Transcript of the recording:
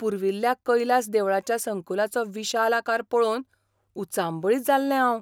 पुर्विल्ल्या कैलास देवळाच्या संकुलाचो विशाल आकार पळोवन उचांबळीत जाल्लें हांव!